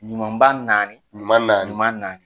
Ɲuman ba naani, ɲuman naani